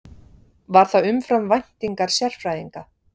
Var það umfram væntingar sérfræðinga